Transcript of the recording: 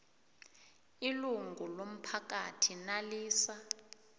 ilungu lomphakathi nalisa